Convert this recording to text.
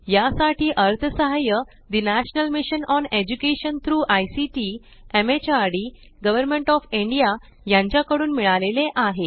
यासाठी अर्थसहाय्य ठे national mission on education through ICT MHRD government of India यांच्याकडून मिळाले आहे